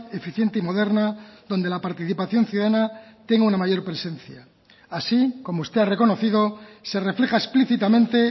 eficiente y moderna donde la participación ciudadana tenga una mayor presencia así como usted ha reconocido se refleja explícitamente